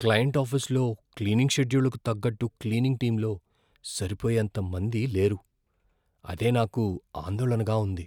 Client ఆఫీసులలో cleaning షెడ్యూళ్లకు తగ్గట్టు క్లీనింగ్ టీంలో సరిపోయేంత మంది లేరు. అదే నాకు ఆందోళనగా ఉంది.